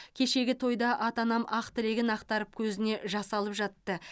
кешегі тойда ата анам ақ тілегін ақтарып көзіне жас алып жатты